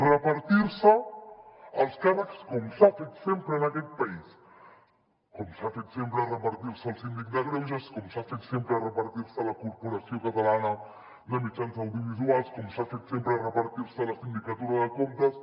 repartir se els càrrecs com s’ha fet sempre en aquest país com s’ha fet sempre repartir se el síndic de greuges com s’ha fet sempre repartir se la corporació catalana de mitjans audiovisuals com s’ha fet sempre repartir se la sindicatura de comptes